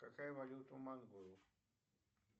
какая валюта у монголов